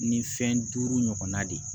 Ni fɛn duuru ɲɔgɔnna de ye